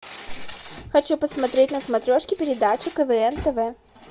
хочу посмотреть на смотрешке передачу квн тв